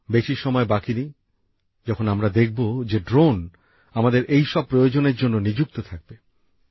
বেশি সময় বাকি নেই যখন আমরা দেখব যে ড্রোন আমাদের এই সব প্রয়োজনের জন্য ব্যবহার হবে